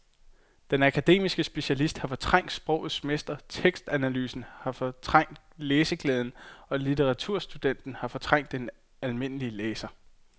Den akademiske specialist har fortrængt sprogets mester, tekstanalysen har fortrængt læseglæden og litteraturstudenten har fortrængt den almindelige læser.